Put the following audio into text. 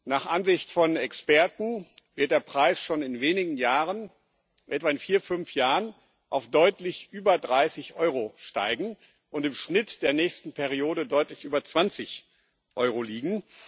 Nach Ansicht von Experten wird der Preis schon in wenigen Jahren etwa in vier, fünf Jahren auf deutlich über 30 Euro steigen und im Schnitt der nächsten Periode deutlich über 20 Euro liegen.